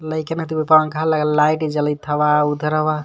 लइकने के पंखा लगल ह लाइट जलथवा उधरवा--